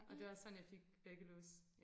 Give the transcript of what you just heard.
Og det var sådan jeg fik væggelus